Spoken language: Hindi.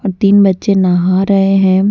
तीन बच्चे नहा रहे हैं।